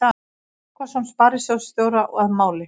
Tryggvason sparisjóðsstjóra að máli.